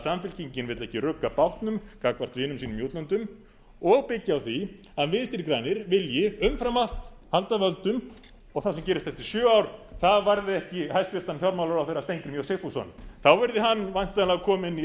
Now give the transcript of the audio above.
samfylkingin vill ekki rugga bátnum gagnvart vinum sínum í útlöndum og byggja á því að vinstri grænir vilji umfram allt halda völdum og það sem gerist eftir sjö ár það varði ekki hæstvirtur fjármálaráðherra steingrím j sigfússon þá verði hann væntanlega kominn í